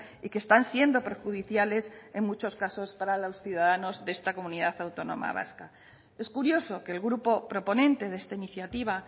y que están siendo perjudiciales en muchos casos para los ciudadanos de esta comunidad autónoma vasca es curioso que el grupo proponente de esta iniciativa